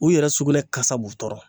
U yɛrɛ sugunɛ kasa b'u tɔɔrɔ.